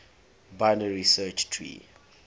binary search tree